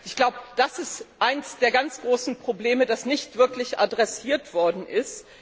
Ich glaube, das ist eines der ganz großen Probleme, das nicht wirklich adressiert worden ist.